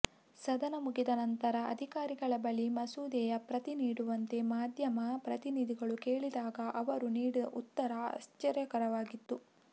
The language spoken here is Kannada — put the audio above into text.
ಸದನ ಮುಗಿದ ನಂತರ ಅಧಿಕಾರಿಗಳ ಬಳಿ ಮಸೂದೆಯ ಪ್ರತಿ ನೀಡುವಂತೆ ಮಾಧ್ಯಮ ಪ್ರತಿನಿಧಿಗಳು ಕೇಳಿದಾಗ ಅವರು ನೀಡಿದ ಉತ್ತರ ಆಶ್ಚರ್ಯಕರವಾಗಿತ್ತು